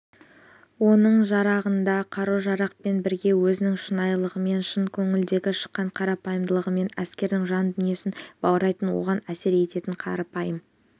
оның жарағында қару-жарақпен бірге өзінің шынайылығымен шын көңілден шыққан қарапайымдылығымен әскердің жан дүниесін баурайтын оған әсер ететін қарапайым